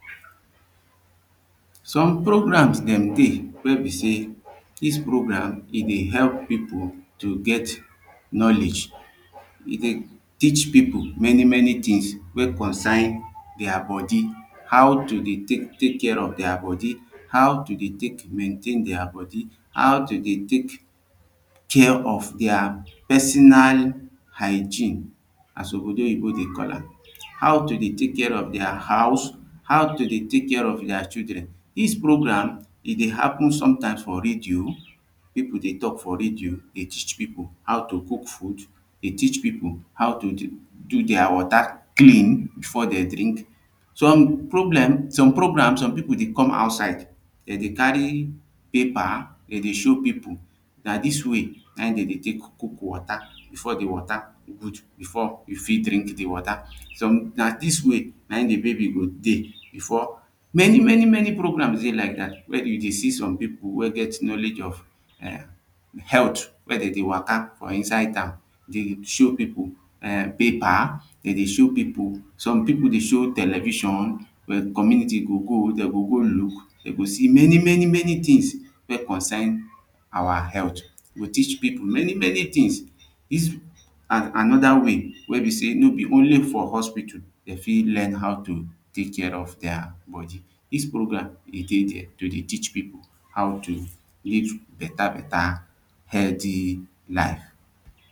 some programmes dem dey wey be say this program e dey help people to get knowledge e dey teach people many many things wey consign their body how to dey take take care of their body how to dey take maintain their body how to dey take care of their personal hygine as obodoyibo dey call am how to dey take care of their house how to dey take care of their children. this programme e dey happen sometimes for radio people dey talk for radio dey teach people how to cook food e teach people how to dey do their water clean before they drink am. some pronlem some programmes some people dey come outside they dey carry paper they dey show people na this way cook wata before the water before e fit drink the wata some na this way na him the baby go dey before many many many programmes dey like that when you dey see some people wey get knowledge of eh health wey dem dey waka for inside town dey show people um paper dem dey show people some people dey show television community go go dem go go look dem go see many many things wey consign our health you go teach people many many things this an another way wey be sey no be only for hospital e fit learn how to take care of their body. this programme e dey there to dey teach people how to live beta beta healthy life